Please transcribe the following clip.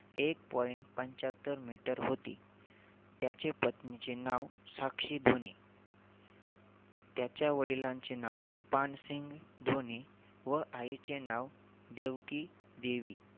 एक point पंचहत्तर meter होती. त्याचे पत्नीचे नाव साक्षी धोनी. त्याच्या वडीलांचे नाव पानसिंह धोनी व आईचे नाव देवकीदेवी